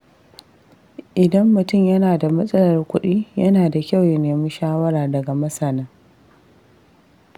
Idan mutum yana da matsalar kuɗi, yana da kyau ya nemi shawara daga masana.